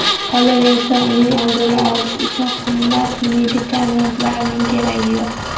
Qolaversa, uning oldini olish uchun qimmat medikamentlarning keragi yo‘q.